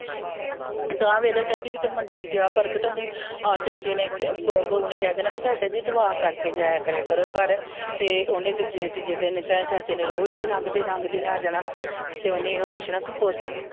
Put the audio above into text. ਆ ਵੇਖ ਲੈ ਚਾਚੀ ਜਦੋਂ ਮੰਡੀ ਨਗਿਆ ਪ੍ਰਗਟ ਓਨੇ ਬਹੂ ਨੇ ਕਿਹ ਦੇਣ ਭਈ ਚਾਚਾ ਜੀ ਦੁਆ ਕਰਕੇ ਜਾਇਆ ਕਰੋ ਘਰ ਤੇ ਉਨ ਜਿਸ ਦਿਨ ਵੀ ਚਾਏ ਚਾਚੇ ਨੇ ਰੋਜ ਵੀ ਲਂਗਦੇ ਲਂਗਦੇ ਨੇ ਆ ਜਾਣਾ ਤੇ ਓਨੇ ਏਹੀ ਪੁੱਛਣਾ ਭਈ ਪੁੱਤ